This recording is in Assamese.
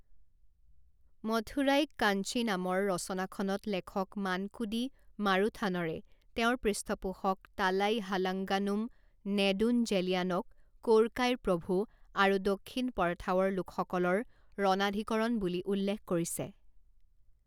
মথুৰাইক্কাঞ্চি নামৰ ৰচনাখনত লেখক মানকুদি মাৰুথানৰে তেওঁৰ পৃষ্ঠপোষক তালাইহালাঙ্গানুম নেদুঞ্জেলিয়ানক কোৰকাইৰ প্ৰভু আৰু দক্ষিণ পৰঠাৱৰ লোকসকলৰ ৰণাধিকৰণ বুলি উল্লেখ কৰিছে।